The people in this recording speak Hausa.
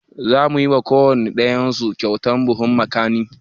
Za mu yi wa kowane ɗayan su kyautan buhun makani